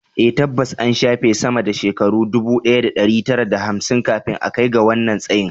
A, tabbas an shafe sama da shekaru ɗubu ɗaya da ɗari tara da hamsin kafin a kai ga wannan tsayin